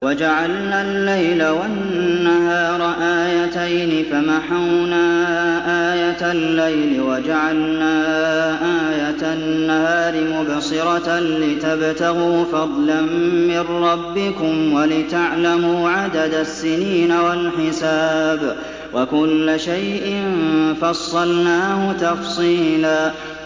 وَجَعَلْنَا اللَّيْلَ وَالنَّهَارَ آيَتَيْنِ ۖ فَمَحَوْنَا آيَةَ اللَّيْلِ وَجَعَلْنَا آيَةَ النَّهَارِ مُبْصِرَةً لِّتَبْتَغُوا فَضْلًا مِّن رَّبِّكُمْ وَلِتَعْلَمُوا عَدَدَ السِّنِينَ وَالْحِسَابَ ۚ وَكُلَّ شَيْءٍ فَصَّلْنَاهُ تَفْصِيلًا